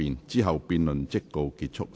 之後辯論即告結束。